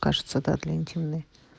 кажется да для интимной